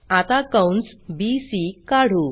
आता कंस बीसी काढू